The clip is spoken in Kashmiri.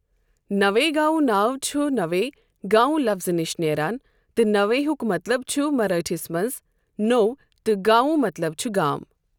نوے گاؤں" ناو چھُ نوے " گاؤں لفظٕ نِش نیران تہٕ نوے ہٗک مطلب چھُ مراٹھِس مَنٛز نوٚو تہٕ گاؤں مطلب چھُ گام۔